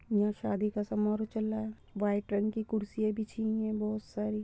यहाँ शादी का समारोह चल रहा है वाइट रंग की कुर्सियां बिछी हुई हैं बहुत सारी।